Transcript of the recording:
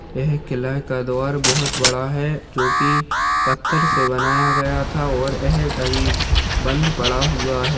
यह किला का द्वार बहोत बड़ा है जो कि पत्थर से बनाया गया था और यह अभी बंद पड़ा हुआ है।